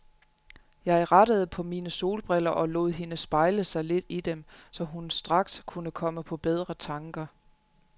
Jeg rettede på mine solbriller og lod hende spejle sig lidt i dem, så hun straks kunne komme på bedre tanker.